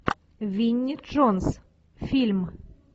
винни джонс фильм